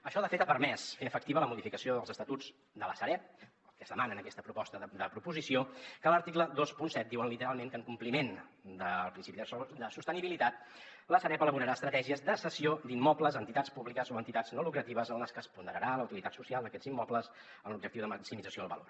això de fet ha permès fer efectiva la modificació dels estatuts de la sareb que es demana en aquesta proposta de proposició que a l’article vint set diu literalment que en compliment del principi de sostenibilitat la sareb elaborarà estratègies de cessió d’immobles a entitats públiques o a entitats no lucratives en les que es ponderarà la utilitat social d’aquests immobles amb l’objectiu de maximització del valor